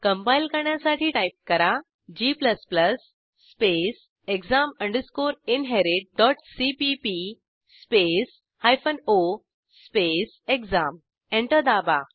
compile करण्यासाठी type करा g exam inheritcpp o exam enter दाबा